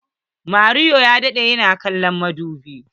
Mario ya daɗe yana kallon madubi.